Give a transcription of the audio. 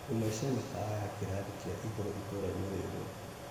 Imwe cia mĩkawa ya kĩrathi kĩa igũrũ itũra-inĩ rĩrĩ .